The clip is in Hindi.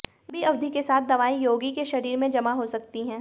लंबी अवधि के साथ दवाएं रोगी के शरीर में जमा हो सकती हैं